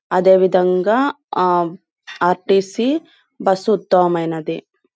అదే విధంగా ఆ ఆర్_టి_సి బస్ ఉత్తమమైనది.